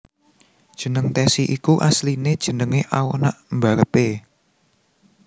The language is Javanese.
Jeneng Tessy iku asline jenenge anak mbarep e